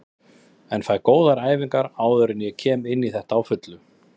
En fæ góðar æfingar áður en ég kem inní þetta á fullu.